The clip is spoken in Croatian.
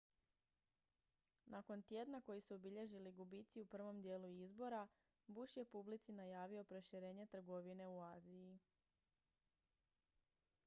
nakon tjedna koji su obilježili gubici u prvom dijelu izbora bush je publici najavio proširenje trgovine u aziji